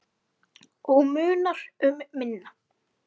Og munar um minna.